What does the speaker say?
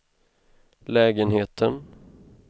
lägenheten